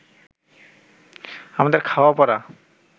আমাদের খাওয়া-পরা